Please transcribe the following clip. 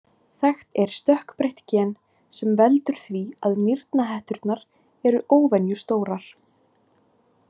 Þekkt er stökkbreytt gen sem veldur því að nýrnahetturnar eru óvenjustórar.